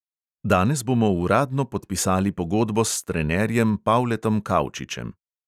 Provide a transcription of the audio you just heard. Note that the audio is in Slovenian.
Danes bomo uradno podpisali pogodbo s trenerjem pavletom kavčičem.